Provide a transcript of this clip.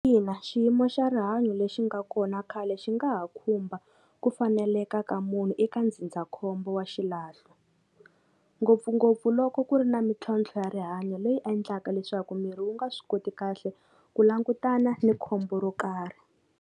Ina xiyimo xa rihanyo lexi nga kona khale xi nga ha khumba ku faneleka ka munhu eka ndzindzakhombo wa xilahlo ngopfungopfu loko ku ri na mintlhontlho ya rihanyo leyi endlaka leswaku miri wu nga swi koti kahle ku langutana ni khombo ro karhi.